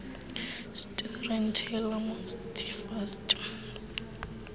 storyteller must first